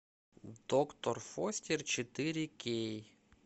доктор фостер четыре кей